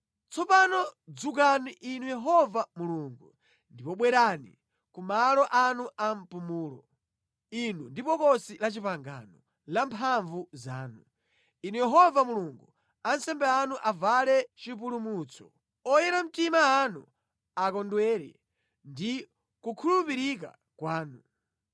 “Tsopano dzukani Inu Yehova Mulungu, ndipo bwerani ku malo anu ampumulo, Inu ndi Bokosi la Chipangano la mphamvu zanu. Inu Yehova Mulungu, ansembe anu avale chipulumutso, oyera mtima anu akondwere ndi kukhulupirika kwanu.